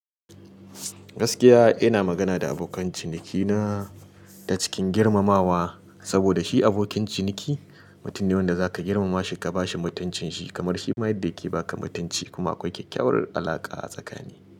Gaskiya ina magana da abokan cinikina ta cikin girmamawa saboda shi abokin ciniki mutum ne wanda zaka girmama shi ka bashi mutuncin shi kamar shi ma yadda yake baka mutunci kuma akwai kyakkyawar alaƙa a tsakanin ku.